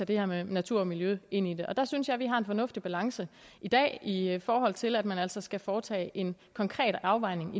det her med natur og miljø ind i det og der synes jeg vi har en fornuftig balance i dag i forhold til at man altså skal foretage en konkret afvejning